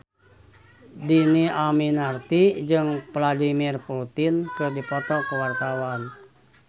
Dhini Aminarti jeung Vladimir Putin keur dipoto ku wartawan